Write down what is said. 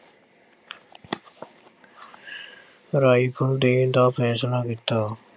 rifle ਦੇਣ ਦਾ ਫੈਸਲਾ ਕੀਤਾ l